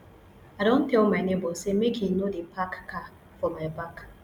i don tell my nebor sey make im no dey park car for my back